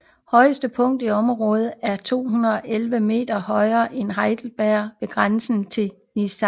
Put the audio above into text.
Højeste punkt i området er den 211 meter høje Heideberg ved grænsen til Niedersachsen